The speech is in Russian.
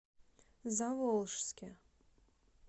заволжске